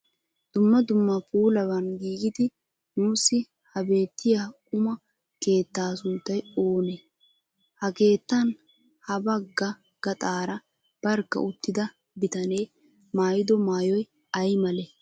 Dumma dumma puulaban giigidi nuusi ha beettiya quma keettaa sunttay oonee? Ha keettan ha bagga gaxaara barkka uttida bitane maayido maayoyi ay malee?